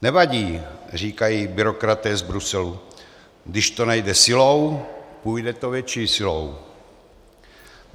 Nevadí, říkají byrokraté z Bruselu, když to nejde silou, půjde to větší silou.